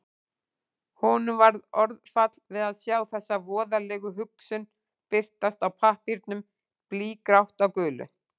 Honum varð orðfall við að sjá þessa voðalegu hugsun birtast á pappírnum, blýgrátt á gulu.